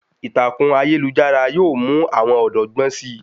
Ìtàkùn ayélujára yóò mú àwọn ọ̀dọ́ gbọ́n si